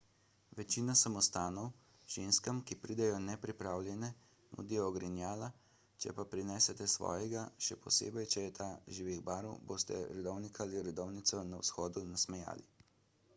večina samostanov ženskam ki pridejo nepripravljene nudi ogrinjala če pa prinesete svojega še posebej če je ta živih barv boste redovnika ali redovnico na vhodu nasmejali